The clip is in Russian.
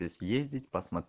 съездить